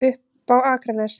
Upp á Akranes.